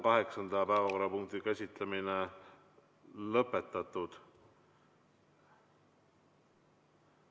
Kaheksanda päevakorrapunkti käsitlemine on lõpetatud.